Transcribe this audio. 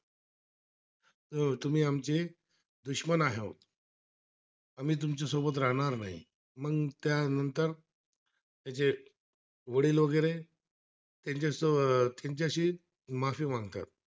आमचे दुश्मन आहेत, आम्ही तुमच्या सोबत राहणार नाही, मग त्यानंतर त्याचे वडील वगैरे, त्यांच्या शो तुमच्याशी माफी मागतात